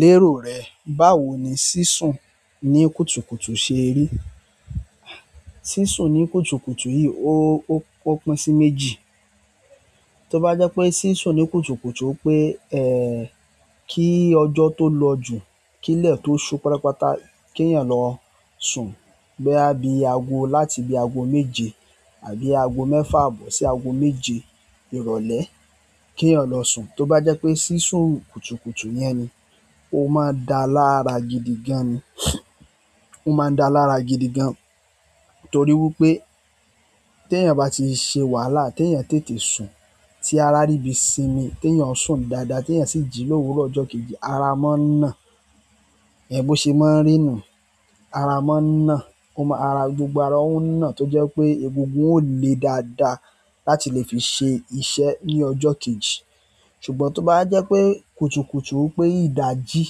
Lérò rẹ̀, báwo ni sísùn ní kùtùkùtù ṣe rí? Sísùn ní kùtùkùtù yìí ó, ó pín sí méjì. Tó bá jẹ́ pé sísùn ní kùtùkùtù pé, kí ọjọ́ tó lọ jù, kí ilẹ̀ tó ṣú pátápátá, kí èèyàn lọ sùn. Bóyá láti bi i aago méje àbí aago mẹfa aabọ si i aago méje ìrọ̀lẹ́ kí èèyàn lọ sùn. Tó bá jẹ́ pé sísùn kùtùkùtù yẹn ni, ó máa ń da lára gidi gan ni. Ó máa ń da lára gidi gan torí wípé tèèyàn bá ti ṣe wàhálà, tèèyàn tètè sùn, tí ara ríbi sinmi, tèèyàn sùn dáadáa, tí èèyàn sì jí l'òwúrò ọjọ́ kejì, ara máa ń nà. Bó ṣe máa ń rì nu. Ara máa ń nà. Gbogbo ara ó ń nà tó jẹ́ pé egungun ò le dáadáa láti lè fi ṣe iṣẹ́ ní ọjọ́ kejì. Ṣùgbọ́n tó bá wa jẹ́ pé kùtùkùtù wipé ìdajì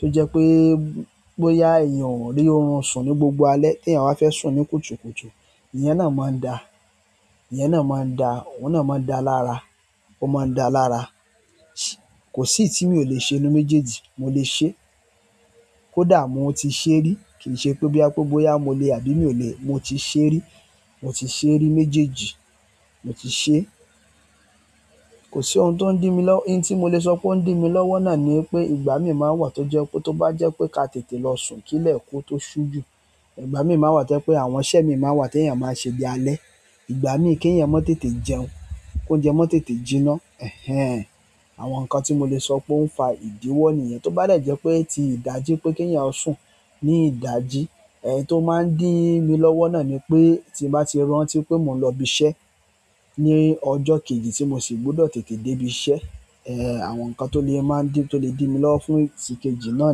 tó jẹ́ pé, boyá èèyàn rí orun sùn ní gbogbo alẹ́ tí èèyàn bá fẹ́ sùn ní kùtùkùtù, ìyẹn náà máa ń da. Ìyẹn náà máa ń da. Ó náà máa ń da lára. Ó máa ń da lára. Kò sí èyí tí mi ò le ṣe inú méjèèjì. Mo lè ṣe. Kódà mo ti ṣe rí. Kì í ṣe pé bí boya mo le àbí mi ò lè. Mo ti ṣe rí. Mo ti ṣe rí méjèèjì. Mo ti ṣe. Kò sí ohun tó ń dí mi lọ́wọ́, ohun tí mo lè sọ pé ó ń dí mi lọ́wọ́ náà ni pé ìgbà mí máa ń wà tó jẹ́ pé tó bá jẹ́ pé ká tètè lọ sùn kí ilẹ̀ kó tó ṣú jù, ìgbà mí máa ń wà tó jẹ́ pé àwọn iṣẹ́ mi máa ń wà tí èèyàn máa ń ṣe bi i alẹ́. Ìgbà mí kí èèyàn má tètè jẹun, kó oúnjẹ má tètè jiná. Àwọn nǹkan ti i mo le so pé o n fa idiwọ nìyẹn tó bá dè jẹ́ pé tí ìdajì pé kí èèyàn ó sùn ní ìdajì, tó máa ń dí mi lọ́wọ́ náà ni pé tí bá ti rántí pé mo ń lọ ibi iṣẹ́ ní ọjọ́ kejì tí mo sì gbọ́dọ̀ tètè dé ibi iṣẹ́, àwọn nǹkan tó lè dí mi lọ́wọ́ fún ti ìkejì náà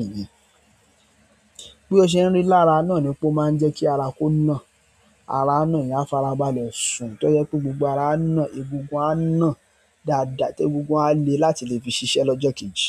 nìyẹn. Bí ó ṣe ń rì lára náà ni pe ó máa ń jẹ́ kí ara kó na. Ara a ná èèyàn farabalẹ̀ sùn tó jẹ́ pé gbogbo ara á nà, egungun á nà dáadáa tí egungun á le láti lè fi ṣiṣẹ́ lọ́jọ́ kejì.